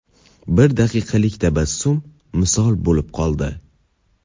Bir daqiqalik tabassum misol bo‘lib qoldi.